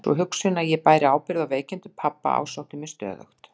Sú hugsun að ég bæri ábyrgð á veikindum pabba ásótti mig stöðugt.